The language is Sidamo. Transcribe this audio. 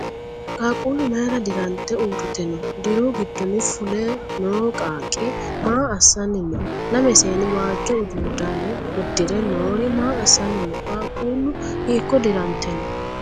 Qaaquulu mayira dirante uurite no? Diru gidonni fule noo qaaqqi maa assanni no? Lame seenni waajo ududano udire noori maa assanni no? Qaaqquulu hiiko dirante no?